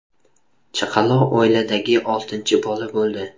Chaqaloq oiladagi oltinchi bola bo‘ldi.